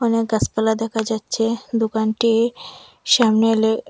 অনেক গাসপালা দেখা যাচ্ছে দোকানটির সামনে এলে এ্যা--